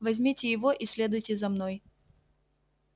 возьмите его и следуйте за мной